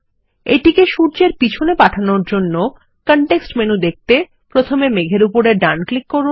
এটিকে সূর্যের পিছনে পাঠানোর জন্য কনটেক্সট মেনুর জন্য মেঘ এর উপর ডান ক্লিক করুন